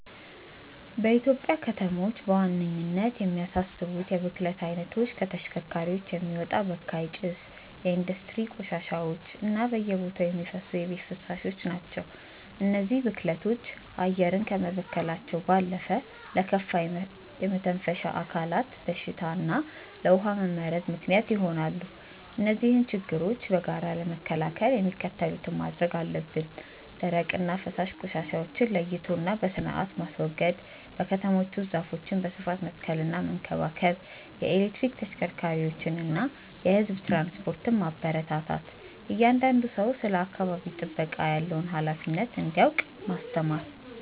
በኢትዮጵያ ከተሞች በዋነኝነት የሚያሳስቡት የብክለት አይነቶች ከተሽከርካሪዎች የሚወጣ በካይ ጭስ፣ የኢንዱስትሪ ቆሻሻዎች እና በየቦታው የሚፈሱ የቤት ፍሳሾች ናቸው። እነዚህ ብክለቶች አየርን ከመበከላቸው ባለፈ ለከፋ የመተንፈሻ አካላት በሽታ እና ለውሃ መመረዝ ምክንያት ይሆናሉ። እነዚህን ችግሮች በጋራ ለመከላከል የሚከተሉትን ማድረግ አለብን፦ ደረቅና ፈሳሽ ቆሻሻዎችን ለይቶና በስርአት ማስወገድ። በከተሞች ውስጥ ዛፎችን በስፋት መትከልና መንከባከብ። የኤሌክትሪክ ተሽከርካሪዎችንና የህዝብ ትራንስፖርትን ማበረታታት። እያንዳንዱ ሰው ስለ አካባቢ ጥበቃ ያለውን ሃላፊነት እንዲያውቅ ማስተማር።